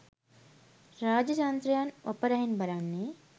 රාජ්‍යතන්ත්‍රයන් වපරැහින් බලන්නේ